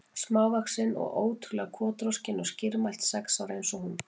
Smávaxin og ótrú- lega kotroskin og skýrmælt, sex ára eins og hún.